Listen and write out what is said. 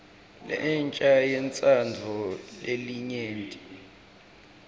lensha yentsandvo yelinyenti